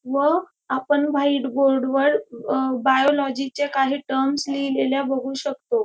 व आपण white board वर अ बायोलॉजी च्या काही टर्म्स लिहिलेल्या बघू शकतो.